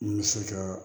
N bɛ se ka